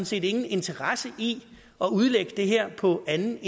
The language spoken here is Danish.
set ingen interesse i at udlægge det her på anden